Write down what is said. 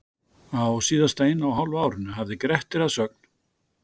Á síðasta eina og hálfa árinu hafði Grettir að sögn